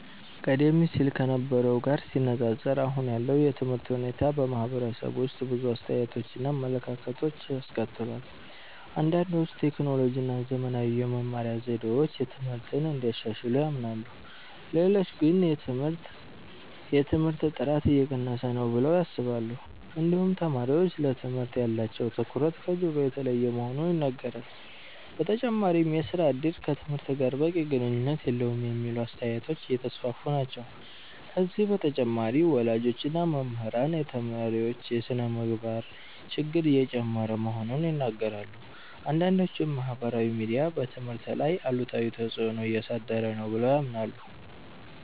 ቀደም ሲል ከነበረው ጋር ሲነፃፀር አሁን ያለው የትምህርት ሁኔታ በማህበረሰቡ ውስጥ ብዙ አስተያየቶችን እና አመለካከቶችን አስከትሏል። አንዳንዶች ቴክኖሎጂ እና ዘመናዊ የመማሪያ ዘዴዎች ትምህርትን እንዳሻሻሉ ያምናሉ። ሌሎች ግን የትምህርት ጥራት እየቀነሰ ነው ብለው ያስባሉ። እንዲሁም ተማሪዎች ለትምህርት ያላቸው ትኩረት ከድሮ የተለየ መሆኑ ይነገራል። በተጨማሪም የሥራ እድል ከትምህርት ጋር በቂ ግንኙነት የለውም የሚሉ አስተያየቶች እየተስፋፉ ናቸው። ከዚህ በተጨማሪ ወላጆች እና መምህራን የተማሪዎች የስነ-ምግባር ችግር እየጨመረ መሆኑን ይናገራሉ። አንዳንዶችም ማህበራዊ ሚዲያ በትምህርት ላይ አሉታዊ ተፅዕኖ እያሳደረ ነው ብለው ያምናሉ።